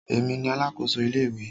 Èmi ni alákòso ilé ìwé.